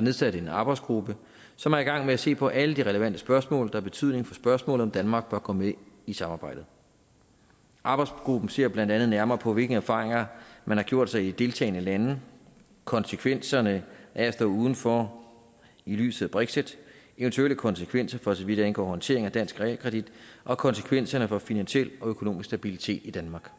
nedsat en arbejdsgruppe som er i gang med at se på alle de relevante spørgsmål der har betydning for spørgsmålet om om danmark bør gå med i samarbejdet arbejdsgruppen ser blandt andet nærmere på hvilke erfaringer man har gjort sig i de deltagende lande konsekvenserne af at stå udenfor i lyset af brexit eventuelle konsekvenser for så vidt angår håndteringen af dansk realkredit og konsekvenserne for finansiel og økonomisk stabilitet i danmark